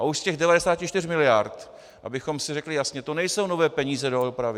A už z těch 94 miliard, abychom si řekli jasně, to nejsou nové peníze do dopravy.